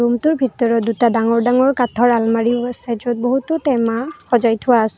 ৰূমটোৰ ভিতৰত দুটা ডাঙৰ ডাঙৰ কাঠৰ আলমাৰীও আছে য'ত বহুতো টেমা সজাই থোৱা আছে।